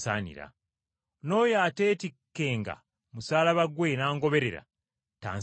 N’oyo ateetikkenga musaalaba gwe n’angoberera tansaanira.